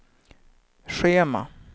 schema